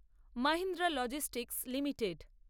Mahindra Logistic limited